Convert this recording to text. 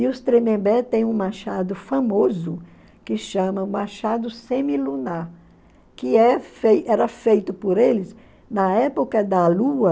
E os Tremembé têm um machado famoso, que chama machado semilunar, que é feito era feito por eles na época da lua,